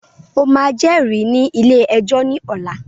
O máà jẹ́rìí ní ilé ẹjọ́ ní ọ̀la!